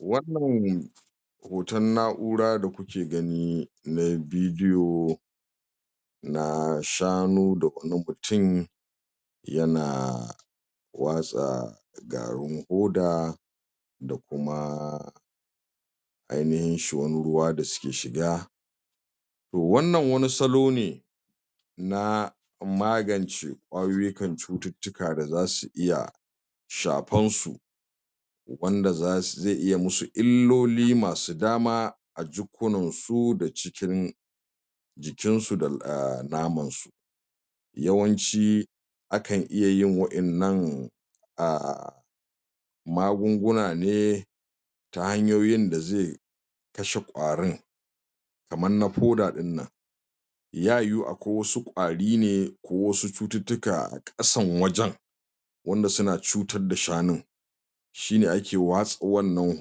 Wannan hoton na'ura da kuke gani na bidiyo na shanu da kuma mutum ya na watsa garin hoda da kuma ainihin shuwan ruwa da suke shiga. To wannan wani salo ne na magance ƙwayoyukan cututtuka da za su iya shafan su wanda zas zai iya musu illoli masu dama a jukkunan su da cikin jikin sa da ahm naman su. Yawanci akan iya yin waƴannan ah magunguna ne ta hanyoyin da zai kashe ƙwarin kaman na foda ɗin nan Ya yiwu akwai wasu ƙwari ne ko wasu cututtuka a ƙasan wajen wanda su na cutar da shanun shi ne ake watsa wannan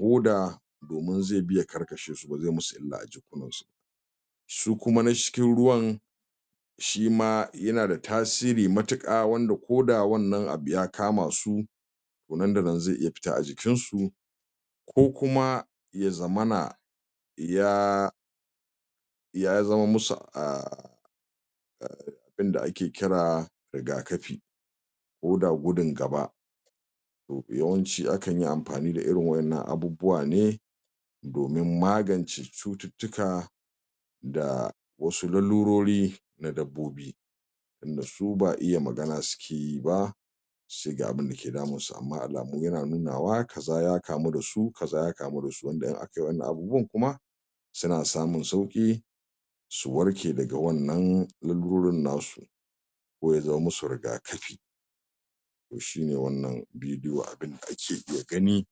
hoda domin zai iya karkashe su ba zai musu illa ba. Su kuma na cikin ruwan shima ya na da tasiri matuƙa wanda koda wannan abu ya kama su to nan da nan zai iya fita a jikin su. Ko kuma ya zamana ya ya zaman musu ah abinda ake kira riga kafi koda gudun gaba. To da yawanci akan yi amfani da irin waƴannan abubuwa ne domin magance cututtuka da wasu lalulori na dabbobi tunda su ba iya magana suke yi ba suce ga abunda ke damun su. Amma alamu ya na nunawa kaza ya kamu da su, kaza ya kamu da su wanda in aka yi wannan abubuwan kuma su na samun sauƙi su warke daga wannan lalurorin nasu, ko ya zaman musu riga kafi to shi ne wannan bidiyo abinda ake iya gani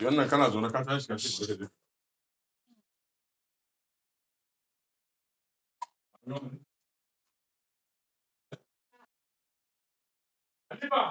Wannan ka na zaune ka tashi ka